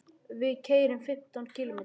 Við keyrum fimmtán kílómetra.